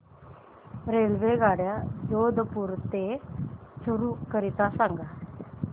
रेल्वेगाड्या जोधपुर ते चूरू करीता सांगा